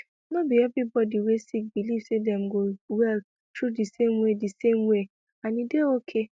no be every body wey sick believe say dem go well through di same way di same way and e dey okay